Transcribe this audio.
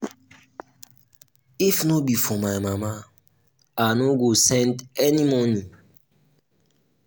if no be for my mama i no go send any money